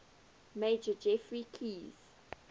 major geoffrey keyes